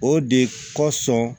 O de kosɔn